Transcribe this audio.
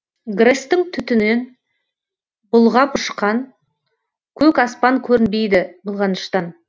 грэс тің түтіні бұлғап ұшқан көк аспан көрінбейді былғаныштан